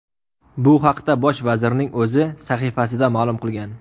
Bu haqda bosh vazirning o‘zi sahifasida ma’lum qilgan.